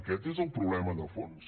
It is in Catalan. aquest és el problema de fons